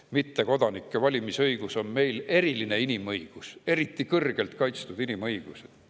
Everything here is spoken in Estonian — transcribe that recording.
–, et mittekodanike valimisõigus on meil eriline inimõigus, eriti kõrgelt kaitstud inimõigus.